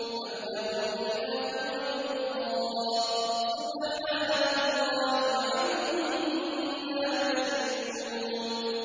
أَمْ لَهُمْ إِلَٰهٌ غَيْرُ اللَّهِ ۚ سُبْحَانَ اللَّهِ عَمَّا يُشْرِكُونَ